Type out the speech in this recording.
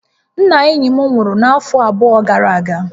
Nna enyi m nwuru n'afo abụọ gara aga